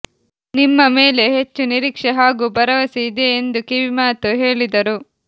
ನಿಮ್ಮ ಮೇಲೆ ಹೆಚ್ಚು ನಿರೀಕ್ಷೆ ಹಾಗೂ ಭರವಸೆ ಇದೆ ಎಂದು ಕಿವಿಮಾತು ಹೇಳಿದರು